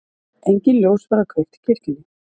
Engin ljós verða kveikt í kirkjunni.